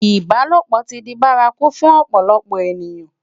Ibálópò ti di bàrákú fún òpòlòpò ëniyán